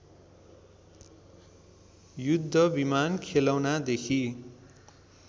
युद्ध विमान खेलौनादेखि